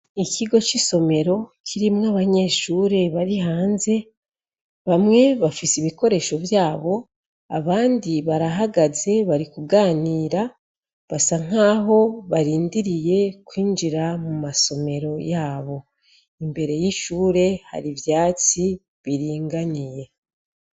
Ikigo c'isomero kirimwo abanyeshure bari hanze bamwe bafise ibikoresho vyabo abandi barahagaze bari kuganira basa nkaho barindiriye kwinjira mu masomero yabo. Imbere y'ishure hari ivyatsi biringaniye.